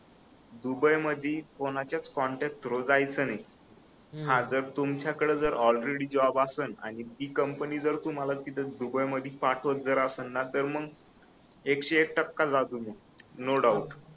Dubai मधी कोणाच्याच contact through जायच नाही हा जर तुमच्याकडे ऑलरेडी जॉब आसण ती कंपनी तुम्हाला जर दुबई मध्ये पाठवत जर आसल ना तर मग एकशे एक टक्का जा तुम्ही नो डॉउट